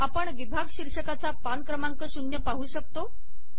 आपण विभाग शीर्षकाचा पान क्रमांक शून्य पाहू शकतो